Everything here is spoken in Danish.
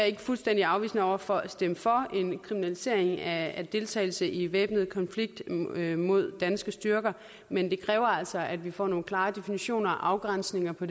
ikke fuldstændig afvisende over for at stemme for en kriminalisering af deltagelse i væbnet konflikt mod danske styrker men det kræver altså at vi får nogle klare definitioner og afgrænsninger på